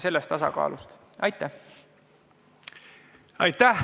Aitäh!